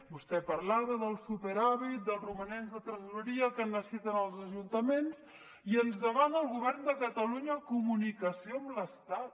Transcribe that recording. vostè parlava del superàvit dels romanents de tresoreria que necessiten els ajuntaments i ens demana al govern de catalunya comunicació amb l’estat